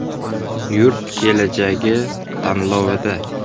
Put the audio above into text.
“Yurt kelajagi” tanlovida.